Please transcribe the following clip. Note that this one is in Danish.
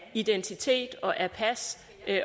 af identitet og af pas